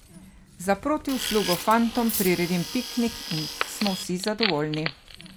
Za protiuslugo fantom priredim piknik in smo vsi zadovoljni.